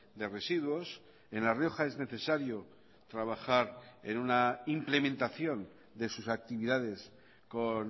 de residuos en la rioja es necesario trabajar en una implementación de sus actividades con